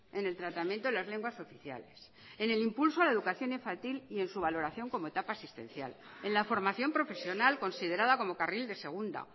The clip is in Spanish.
en el tratamiento de las lenguas oficiales en el impulso a la educación infantil y en su valoración como etapa asistencial en la formación profesional considerada como carril de segunda